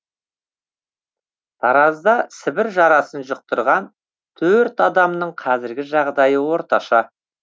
таразда сібір жарасын жұқтырған төрт адамның қазіргі жағдайы орташа